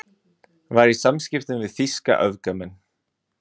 Var í samskiptum við þýska öfgamenn